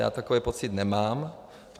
Já takový pocit nemám.